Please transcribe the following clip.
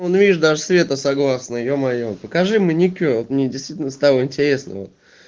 вон видишь даже света согласно е-мое покажи маникюр вот мне действительно стало интересно вот